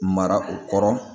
Mara o kɔrɔ